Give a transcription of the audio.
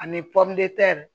Ani